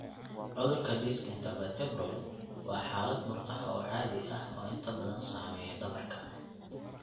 Cudurka disc intervertebral (IDD) waa xaalad murqaha oo caadi ah oo inta badan saameeya dhabarka.